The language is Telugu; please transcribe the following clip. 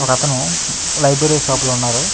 ఒక అతను లైబ్రరీ షాప్ లో ఉన్నాడు --